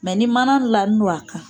Mɛ ni mana lani no a kan